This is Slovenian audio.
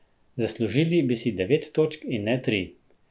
Zaslužili bi si devet točk in ne tri.